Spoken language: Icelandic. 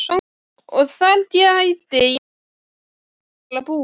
Og þar gæti ég vel hugsað mér að búa.